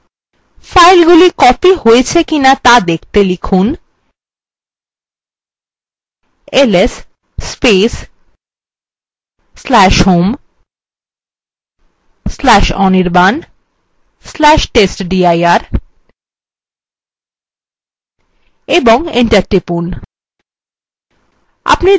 ফাইলগুলি copied হয়েছে কিনা ত়া দেখতে লিখুন ls/home/anirban/testdir এবং enter টিপুন